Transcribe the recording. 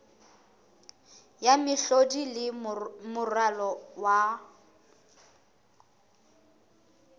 ya mehlodi le moralo wa